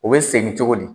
U bɛ segin cogo di